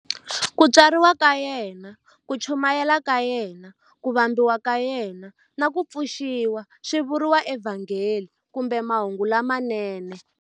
Ku tswariwa ka yena, ku chumayela ka yena, ku vambiwa ka yena, na ku pfuxiwa swi vuriwa eVhangeli kumbe"Mahungu lamanene".